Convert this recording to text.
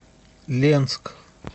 ленск